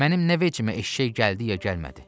Mənim nə vecimə eşşək gəldi ya gəlmədi.